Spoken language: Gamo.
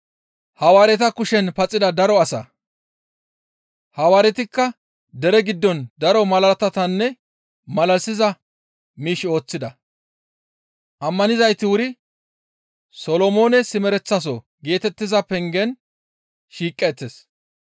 Hawaaretikka dere giddon daro malaatatanne malalisiza miish ooththida; ammanizayti wuri, «Solomoone simereteththaso» geetettiza pengen shiiqeettes.